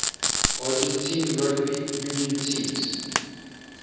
argentine rugby union teams